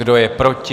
Kdo je proti?